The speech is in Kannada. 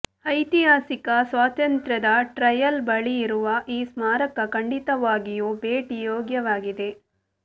ಐತಿಹಾಸಿಕ ಸ್ವಾತಂತ್ರ್ಯದ ಟ್ರಯಲ್ ಬಳಿಯಿರುವ ಈ ಸ್ಮಾರಕ ಖಂಡಿತವಾಗಿಯೂ ಭೇಟಿ ಯೋಗ್ಯವಾಗಿದೆ